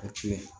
O ti ye